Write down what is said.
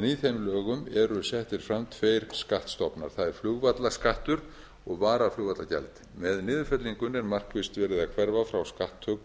en í þeim lögum eru settir fram tveir skattstofnar það er flugvallaskattur og varaflugvallagjald með niðurfellingunni er markvisst verið að hverfa frá skatttöku